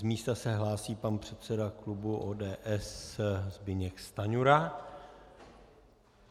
Z místa se hlásí pan předseda klubu ODS Zbyněk Stanjura.